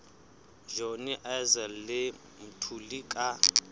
johnny issel le mthuli ka